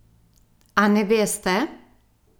A ne veste?